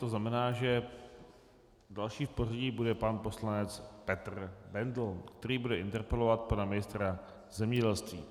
To znamená, že další v pořadí bude pan poslanec Petr Bendl, který bude interpelovat pana ministra zemědělství.